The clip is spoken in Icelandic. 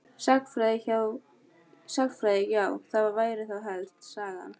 Sagnfræði já það væri þá helst Sagan.